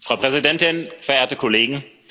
Frau Präsidentin, verehrte Kollegen!